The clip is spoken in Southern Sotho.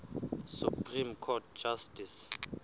supreme court justice